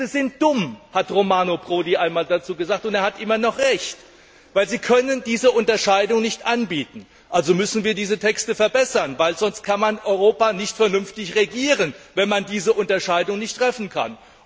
Diese Texte sind dumm, hat Romano Prodi einmal dazu gesagt, und er hat immer noch Recht, denn sie können diese Unterscheidung nicht anbieten. Also müssen wir diese Texte verbessern, weil man Europa nicht vernünftig regieren kann, wenn man diese Unterscheidung nicht treffen kann.